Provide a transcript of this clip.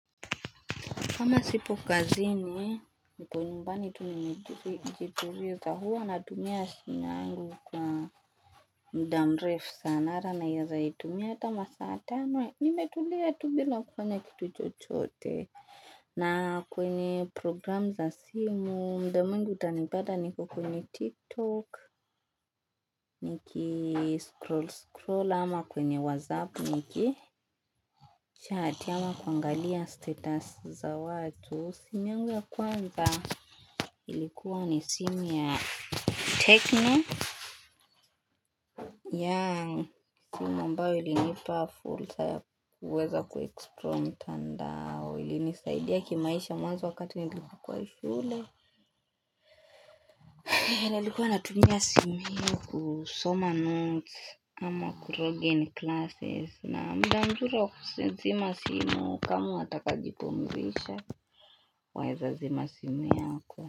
Kama sipo kazini, nipo nyumbani tu nimejituliza huwa natumia simu yangu kwa muda mrefu sana hata naweza itumia hata masaa tano. Nimetulia tu bila kufanya kitu chochote. Na kwenye program za simu, muda mwingi utanipata niko kwenye tiktok, nikiscroll scroll, ama kwenye whatsapp, nikichat, ama kuangalia status za watu. Simu yangu ya kwanza ilikuwa ni simu ya tecno yaan simu ambayo ilinipafursa ya kuweza kuexplore mtandao ilinisaidia kimaisha mwanzo wakati nilipokuwa shule nilikuwa natumia simu hii kusoma notisi au kulogin classes na muda mzuri wa kuzina na simu kama unataka kujipumzisha waweza zima simu yako.